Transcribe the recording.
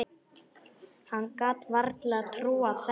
Hann gat varla trúað þessu.